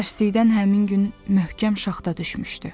Təssüflükdən həmin gün möhkəm şaxta düşmüşdü.